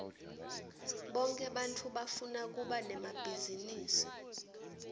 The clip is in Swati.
bonke bantfu bafuna kuba nemabhizinisi